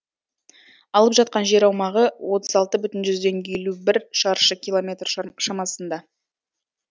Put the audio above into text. алып жатқан жер аумағы отыз алты бүтін жүзден елу бір шаршы километр шамасында